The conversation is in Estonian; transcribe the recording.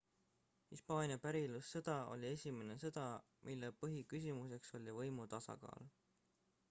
hispaania pärilussõda oli esimene sõda mille põhiküsimuseks oli võimu tasakaal